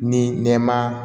Ni nɛma